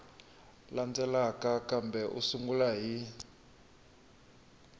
landzelaka kambe u sungula hi